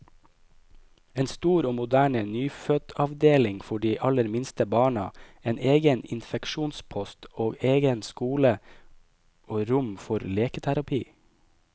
En stor og moderne nyfødtavdeling for de aller minste barna, en egen infeksjonspost, og egen skole og rom for leketerapi.